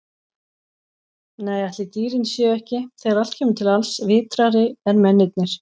Nei, ætli dýrin séu ekki, þegar allt kemur til alls, vitrari en mennirnir.